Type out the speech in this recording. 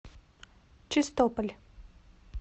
чистополь